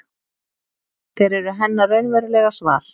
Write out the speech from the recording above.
Þeir eru hennar raunverulega svar.